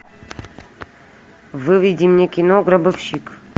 выведи мне кино гробовщик